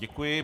Děkuji.